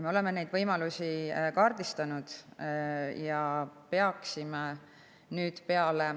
Me oleme neid võimalusi kaardistanud.